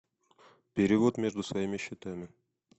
перевод между своими счетами